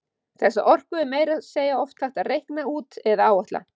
Þessa orku er meira að segja oft hægt að reikna út eða áætla.